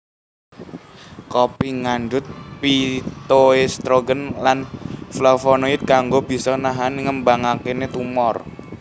Kopi ngandhut phytoestrogen lan flavonoid kang bisa nahan ngembakane tumor